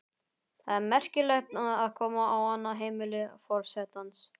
Það er merkilegt að koma á annað heimili forsetans.